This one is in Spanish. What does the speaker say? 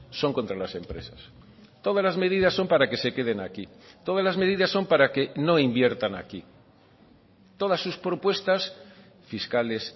son contra las empresas todas las medidas son para que se queden aquí todas las medidas son para que no inviertan aquí todas sus propuestas fiscales